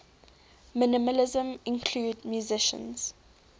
minimalism include musicians